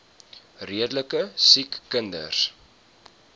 redelike siek kinders